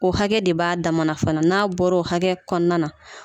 O hakɛ de b'a dama fana n'a bɔr'o hakɛ kɔnɔna na